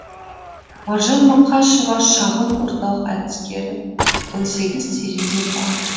маржан мақашева шағын орталық әдіскері он сегіз терезе бар